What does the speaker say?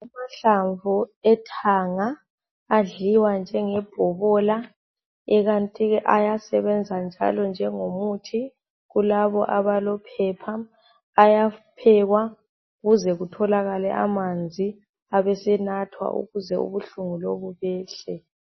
Amahlamvu ethanga, adliwa njengebhobola, ekanti ayasebenza njalo njengomuthi kulabo abalophepha. Ayaphekwa kuze kutholakale amanzi, abesenathwa ukuze ubuhlungu lobu behle.